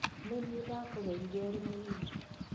Nĩ niĩ ndakũrerire ũrĩ mũnini